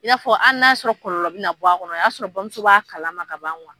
I y'a fɔ ali n'a y'a sɔrɔ kɔlɔlɔ bi na bɔ a kɔnɔ o y'a sɔrɔ bamuso b'a kalama ka ban kuwa